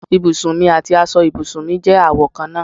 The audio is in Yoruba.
Ibùsùn mì àti aṣọ ibùsùn je àwo kan náà